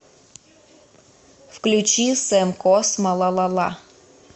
включи сэм космо лалала